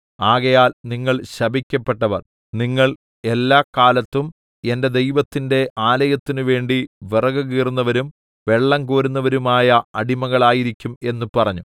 ആകയാൽ നിങ്ങൾ ശപിക്കപ്പെട്ടവർ നിങ്ങൾ എല്ലാകാലത്തും എന്‍റെ ദൈവത്തിന്‍റെ ആലയത്തിനുവേണ്ടി വിറകുകീറുന്നവരും വെള്ളംകോരുന്നവരുമായ അടിമകൾ ആയിരിക്കും എന്ന് പറഞ്ഞു